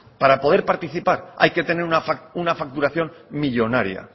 para poder participar hay que tener una facturación millónaria